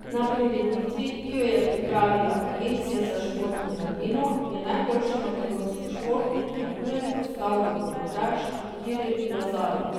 Na prireditvi, ki jo je pripravila Agencija za šport in mladino, je najboljši makedonski športnik na tujem postal rokometaš Kiril Lazarov.